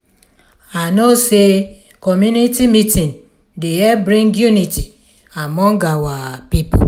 i know sey community meeting dey help bring unity among our pipo.